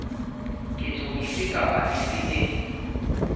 ketso efe kapa efe e